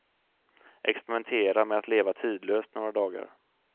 Experimentera med att leva tidlöst några dagar.